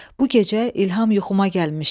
Bu gecə İlham yuxuma gəlmişdi.